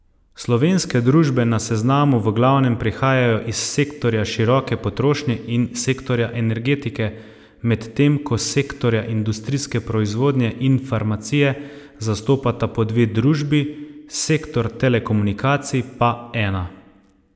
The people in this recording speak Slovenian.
Slovenske družbe na seznamu v glavnem prihajajo iz sektorja široke potrošnje in sektorja energetike, medtem ko sektorja industrijske proizvodnje in farmacije zastopata po dve družbi, sektor telekomunikacij pa ena.